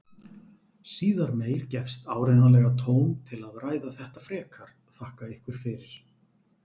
Síðar meir gefst áreiðanlega tóm til að ræða þetta frekar, þakka ykkur fyrir.